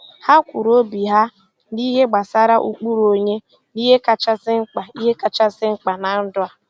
Ha kwuru obi ha n'ihe gbasara ụkpụrụ onye na ihe kachasị mkpa ihe kachasị mkpa na ndụ a.